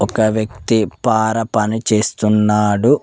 ఒక వ్యక్తి పార పని చేస్తున్నాడు.